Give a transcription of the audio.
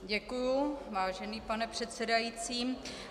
Děkuju, vážený pane předsedající.